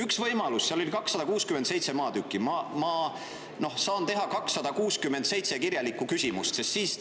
Üks võimalus on see, et kuna seal oli 267 maatükki, siis ma saan esitada 267 kirjalikku küsimust.